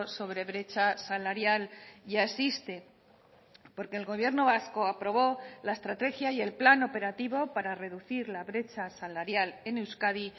sobre brecha salarial ya existe porque el gobierno vasco aprobó la estrategia y el plan operativo para reducir la brecha salarial en euskadi